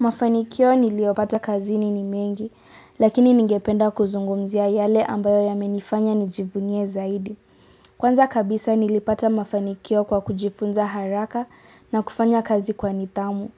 Mafanikio niliopata kazini ni mengi, lakini ningependa kuzungumzia yale ambayo yamenifanya nijivunie zaidi. Kwanza kabisa nilipata mafanikio kwa kujifunza haraka na kufanya kazi kwa nidhamu.